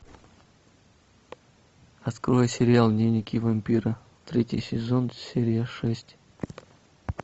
открой сериал дневники вампира третий сезон серия шесть